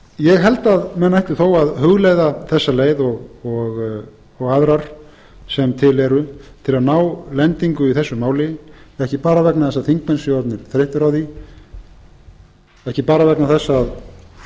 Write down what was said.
ég held að menn ættu þó að hugleiða þessa leið og aðrar sem til eru til að ná lendingu í þessu máli ekki bara vegna þess að þingmenn séu orðnir þreyttir á því ekki bara vegna þess